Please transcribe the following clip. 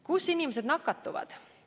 Kus inimesed nakatuvad?